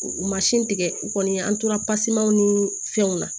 tigɛ u kɔni an tora pasemanw ni fɛnw na